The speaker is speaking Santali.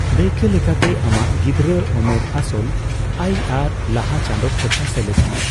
ᱫᱟᱭᱠᱟᱹᱞᱮᱠᱟᱛᱮ, ᱟᱢᱟᱜ ᱜᱤᱫᱽᱨᱟᱹ ᱳᱢᱮᱨ ᱟᱥᱚᱞ ᱟᱭ ᱟᱨ ᱞᱟᱦᱟ ᱪᱟᱸᱫᱚ ᱠᱷᱚᱨᱪᱟ ᱥᱮᱞᱮᱫ ᱢᱮ᱾